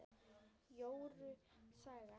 Jóru saga